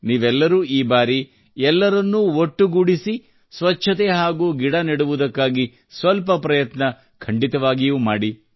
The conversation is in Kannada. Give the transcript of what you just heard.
ನೀವೆಲ್ಲರೂ ಈ ಬಾರಿ ಎಲ್ಲರನ್ನೂ ಒಟ್ಟುಗೂಡಿಸಿ ಸ್ವಚ್ಛತೆ ಹಾಗೂ ಗಿಡ ನೆಡುವುದಕ್ಕಾಗಿ ಸ್ವಲ್ಪ ಪ್ರಯತ್ನ ಖಂಡಿತವಾಗಿಯೂ ಮಾಡಿ